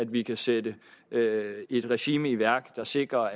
vi kan sætte et regime i værk der sikrer